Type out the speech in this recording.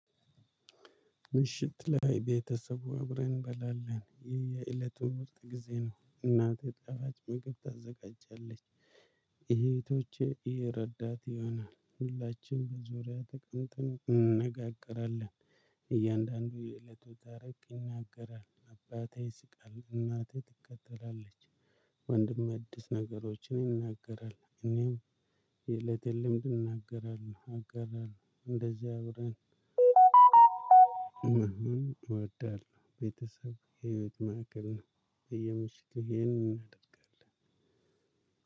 ምሽት ላይ ቤተሰቡ እብረን እንበላለን የየእለቱን ውስጥ ጊዜ ነው እናት የጣፋጭ መቅብት ታዘጋጃለች እህቶቼ ይረዳት ይሆናል ሁላችንም ተቀምጠን እንነጋገራለን። እያንዳንዱ የእለቱ ተረት ይናገራል አባቴ ይስቃል እናቴ ትከተላለች። ወንድም አዲስ ነገሮችን ይናገራል፣ እኔም የእለቴን ልምድ እናገራለሁ፣ አጋራለሁ እንደዚያ አብረን እንደውም እወዳለሁ። ቤተሰብ የመጥማቅልና የምሽት ይሄንን እናደርጋለን።